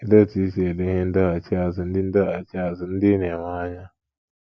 Olee otú i si ele ihe ndọghachi azụ ndị ndọghachi azụ ndị ị na - enwe anya?